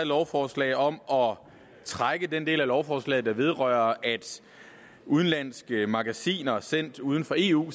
lovforslag om at trække den del af lovforslaget der vedrører at udenlandske magasiner sendt uden for eu